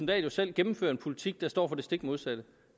dahl jo selv gennemfører en politik der står for det stik modsatte